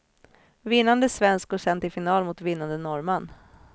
Vinnande svensk går sedan till final mot vinnande norrman.